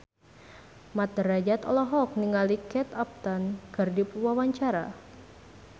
Mat Drajat olohok ningali Kate Upton keur diwawancara